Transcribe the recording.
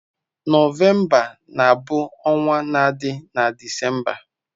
Nọvemba na-bụ ọnwa na-adi na Disemba.